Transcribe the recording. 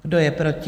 Kdo je proti?